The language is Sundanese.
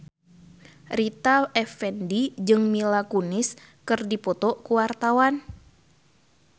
Rita Effendy jeung Mila Kunis keur dipoto ku wartawan